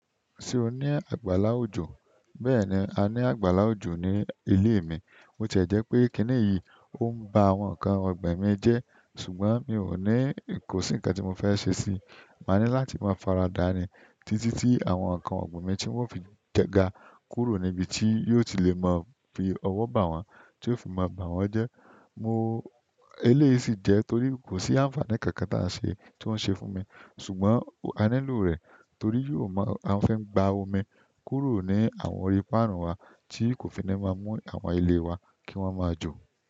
Ṣé o ní àgbàlá òjò? Bẹ́ẹ̀ni a ni àgbàlá ojo ni ile mi bo ti e jẹ́ pé kíni èyí, ó ń ba àwọn ǹkan ọ̀gbìn mi jẹ́ ṣùgbọ́n mi ò ní, kò sí ǹkan tí mo fẹ́ ṣe sí i. Máa ní láti máa faradà ní títí tí àwọn ǹkan ọ̀gbìn mi tí wọ́n ó fi jẹ ga kúrò níbi tí yóò ti le mọ fi ọwọ́ bá wọn, tí ó fi máa bá wọn jẹ́. Mo, eléyìí sì jẹ́ torí kò sí àǹfààní kankan tí à ń ṣe, tí ó ń ṣe fún mi ṣùgbọ́n a nílò rẹ̀ torí yóò máa, a fẹ́ ń gba omi kúrò ní àwọn orí páànù wa tí kò fi ní máa mú àwọn ilé wa kí wọ́n máa jò.